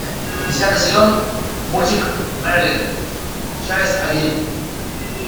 десятый сезон мультик мерлин часть один